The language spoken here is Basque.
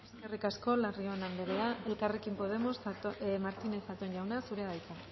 eskerrik asko larrion andrea elkarrekin podemos martínez zatón jauna zurea da hitza